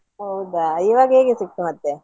ಹೌದಾ ಇವಾಗ ಹೇಗೆ ಸಿಕ್ತು ಮತ್ತೆ?